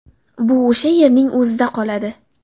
Bu o‘sha yerning o‘zida qoladi.